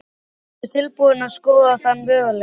Ertu tilbúin að skoða þann möguleika?